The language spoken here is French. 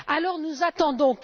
Alors nous attendons.